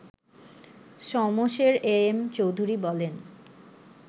Shamsher M Chowdhury বলেন